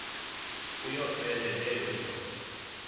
uyosele leyo indoda